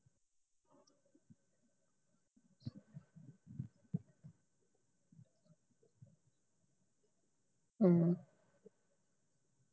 ਹਮ